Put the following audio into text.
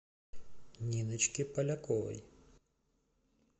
ниночке поляковой